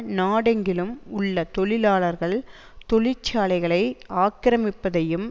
நாடெங்கிலும் உள்ள தொழிலாளர்கள் தொழிற்சாலைகளை ஆக்கிரமிப்பதையும்